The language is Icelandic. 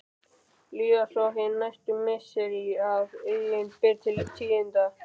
Líða svo hin næstu misseri að eigi ber til tíðinda.